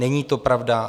Není to pravda.